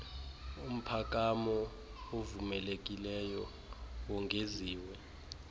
umphakamo ovumelekileyo wongeziwe